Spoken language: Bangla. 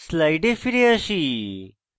slides ফিরে যাই